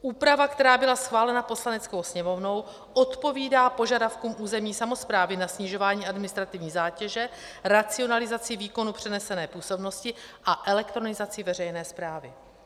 Úprava, která byla schválena Poslaneckou sněmovnou, odpovídá požadavkům územní samosprávy na snižování administrativní zátěže, racionalizaci výkonu přenesené působnosti a elektronizaci veřejné správy.